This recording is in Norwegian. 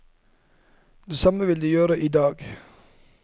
Det samme vil de gjøre i dag.